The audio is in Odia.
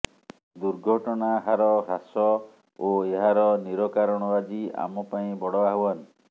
ଦୁର୍ଘଟଣା ହାର ହ୍ରାସ ଓ ଏହାର ନିରକାରଣ ଆଜି ଆମ ପାଇଁ ବଡ଼ ଆହ୍ବାନ